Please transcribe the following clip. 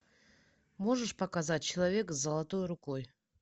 можешь показать человек с золотой рукой